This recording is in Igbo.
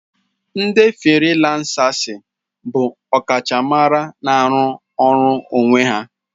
Ndi firilansasi bụ ọkachamara na-arụ ọrụ onwe ya.